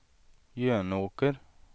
Jönåker